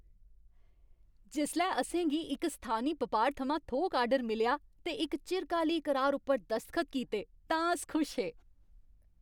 जिसलै असें गी इक स्थानी बपार थमां थोक आर्डर मिलेआ ते इक चिरकाली करार उप्पर दसखत कीते तां अस खुश हे।